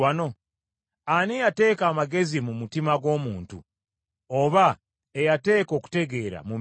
Ani eyateeka amagezi mu mutima gw’omuntu, oba eyateeka okutegeera mu mmeeme?